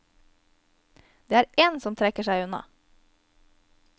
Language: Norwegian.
Det er én som trekker seg unna.